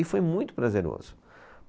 E foi muito prazeroso.